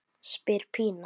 spyr Pína.